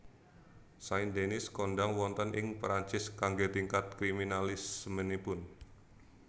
Saint Denis kondhang wonten ing Perancis kanggé tingkat kriminalismenipun